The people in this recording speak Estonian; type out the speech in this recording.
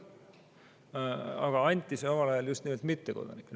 See õigus anti omal ajal just nimelt mittekodanikele.